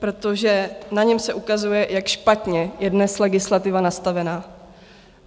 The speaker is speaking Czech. Protože na něm se ukazuje, jak špatně je dnes legislativa nastavená.